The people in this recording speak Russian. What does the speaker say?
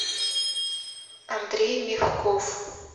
андрей мягков